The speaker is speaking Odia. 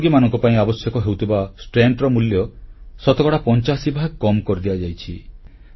ହୃଦରୋଗୀମାନଙ୍କ ପାଇଁ ଆବଶ୍ୟକ ହେଉଥିବା ଷ୍ଟେଣ୍ଟର ମୂଲ୍ୟ ଶତକଡ଼ା 85 ଭାଗ କମ୍ କରିଦିଆଯାଇଛି